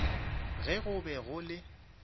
ge go be go le